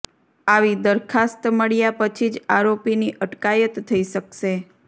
આવી દરખાસ્ત મળ્યા પછી જ આરોપીની અટકાયત થઈ શકશે